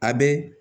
A bɛ